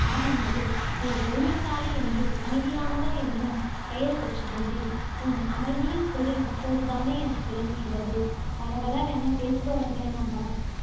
மாமன்னரே நீர் பொறுமைசாலி என்றும், அமைதியானவர் என்றும் பெயர் பெற்றிருந்தீர். உம் அமைதியின் பொருள் இப்போது தானே எனக்கு விளங்குகிறது வளவளவென பேசுபவர்களை நம்பலாம்.